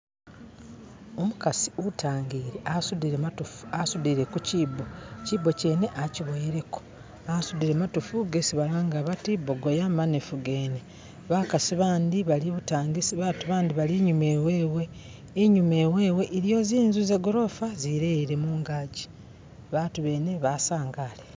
Umukasi utangile asudile matofu asudile ku chibo chibo kyene akyiboyeleko asudile matofu gesi balanga bati bogoya manefugene bakasi bandi bali ibutangisi batu bandi bali inyuma iwewe inyuma iwewe iliyo zinzu zegorofa zileyele mungaji batu bene basangale